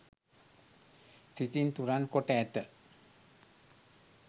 සිතින් තුරන් කොට ඇත.